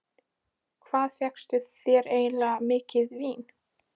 Hvað fékkstu þér eiginlega mikið vín?